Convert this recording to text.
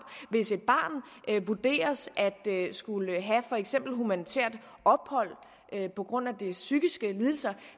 hvis et barn vurderes at skulle have for eksempel humanitært ophold på grund af dets psykiske lidelser